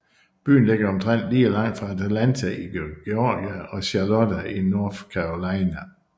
Byen ligger omtrent lige langt fra Atlanta i Georgia og Charlotte i North Carolina